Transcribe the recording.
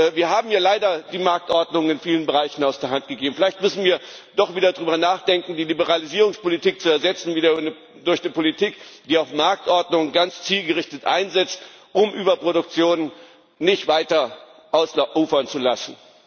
Wir haben ja leider die Marktordnung in vielen Bereichen aus der Hand gegeben. Vielleicht müssen wir doch wieder darüber nachdenken, die Liberalisierungspolitik zu ersetzen durch eine Politik, die auch Marktordnung ganz zielgerichtet einsetzt, um Überproduktion nicht weiter ausufern zu lassen.